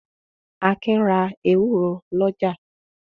Akin ra ewúro lọ́jà.